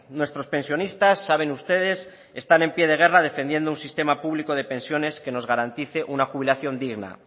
nuestros pensionistas saben ustedes están en pie de guerra defendiendo un sistema público de pensiones que nos garantice una jubilación digna